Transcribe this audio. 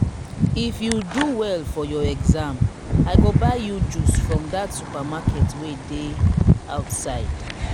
if you do well for your exam i go buy you juice from dat supermarket wey dey outside